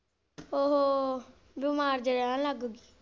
ਉਹ ਬਿਮਾਰ ਜੇਹਾ ਰਹਿਣ ਲੱਗ ਗੀ।